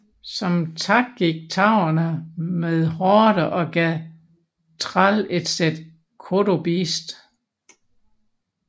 Som tak gik taurene med Horde og gav Thrall et sæt kodobeast